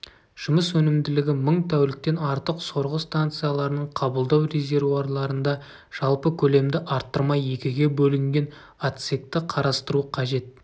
жұмыс өнімділігі мың тәуліктен артық сорғы станцияларының қабылдау резервуарларында жалпы көлемді арттырмай екіге бөлінген отсекті қарастыру қажет